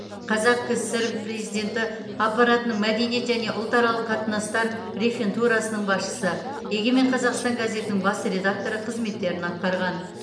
қазақ кср президенті аппаратының мәдениет және ұлтаралық қатынастар рефентурасының басшысы егемен қазақстан газетінің бас редакторы қызметтерін атқарған